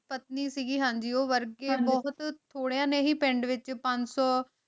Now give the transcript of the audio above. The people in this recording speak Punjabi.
ਪਤਨੀ ਸੁਰੇਖਾ ਪਤਨੀ ਸੀਗੀ ਹਾਂਜੀ ਊ ਵਰਗੀ ਬੋਹਤ ਥੋਰ੍ਯਾਂ ਨੇ ਹੀ ਪਿੰਡ ਵਿਚ ਪੰਜ ਸੂ